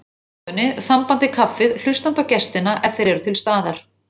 stofunni, þambandi kaffið, hlustandi á gestina ef þeir eru til staðar.